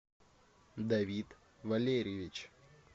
давид валерьевич